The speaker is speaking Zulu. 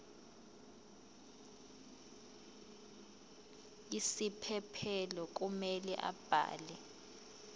isiphephelo kumele abhale